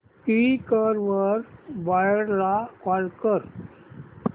Quikr वर buyer ला call कर